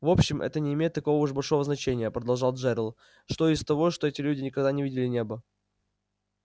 в общем это не имеет такого уж большого значения продолжал джерилл что из того что эти люди никогда не видели неба